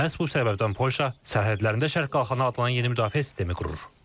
Məhz bu səbəbdən Polşa sərhədlərində şərq qalxanı adlanan yeni müdafiə sistemi qurur.